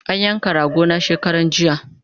An yanka rago na shekaranjiya